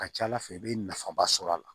Ka ca ala fɛ i bɛ nafaba sɔrɔ a la